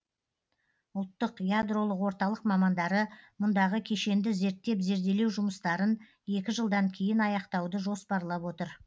ұлттық ядролық орталық мамандары мұндағы кешенді зерттеп зерделеу жұмыстарын екі жылдан кейін аяқтауды жоспарлап отыр